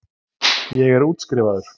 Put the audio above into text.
Ég er útskrifaður.